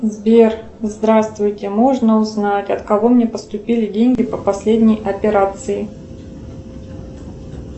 сбер здравствуйте можно узнать от кого мне поступили деньги по последней операции